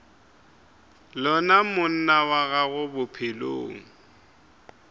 lona monna wa gago bophelong